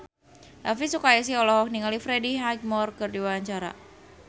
Elvi Sukaesih olohok ningali Freddie Highmore keur diwawancara